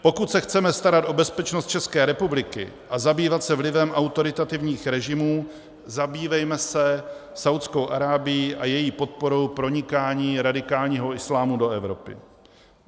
Pokud se chceme starat o bezpečnost České republiky a zabývat se vlivem autoritativních režimů, zabývejme se Saúdskou Arábií a její podporou pronikání radikálního islámu do Evropy.